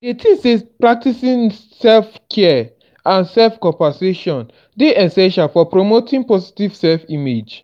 dey think say practicing self-care and dey essential for promoting positive self-image.